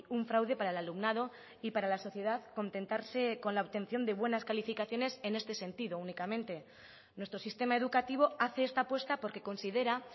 un fraude para el alumnado y para la sociedad contentarse con la obtención de buenas calificaciones en este sentido únicamente nuestro sistema educativo hace esta apuesta porque considera